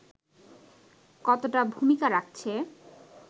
কতোটা ভূমিকা রাখছে